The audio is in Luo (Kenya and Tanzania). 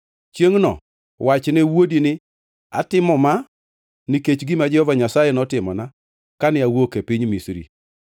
Chiengʼno wachne wuodi ni, ‘Atimo ma nikech gima Jehova Nyasaye notimona kane awuok e piny Misri.’